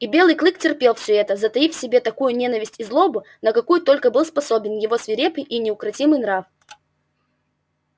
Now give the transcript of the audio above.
и белый клык терпел всё это затаив в себе такую ненависть и злобу на какую только был способен его свирепый и неукротимый нрав